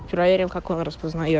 проверим как он распознает